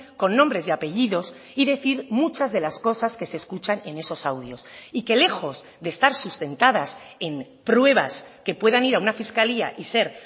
con nombres y apellidos y decir muchas de las cosas que se escuchan en esos audios y que lejos de estar sustentadas en pruebas que puedan ir a una fiscalía y ser